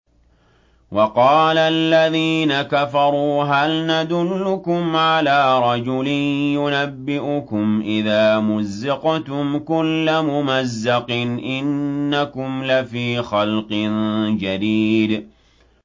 وَقَالَ الَّذِينَ كَفَرُوا هَلْ نَدُلُّكُمْ عَلَىٰ رَجُلٍ يُنَبِّئُكُمْ إِذَا مُزِّقْتُمْ كُلَّ مُمَزَّقٍ إِنَّكُمْ لَفِي خَلْقٍ جَدِيدٍ